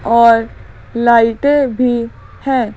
और लाइटें भी हैं।